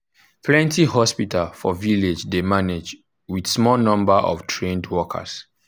plenty hospital for village dey manage with small number of trained workers.